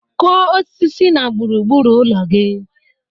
Kụọ osisi na gburu gburu ụlọ gị!